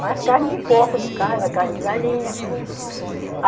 Mas carne de porco de casa, carne de galinha.